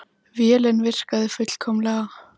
Vélin virkaði fullkomlega.